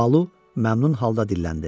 Balu məmnun halda dilləndi.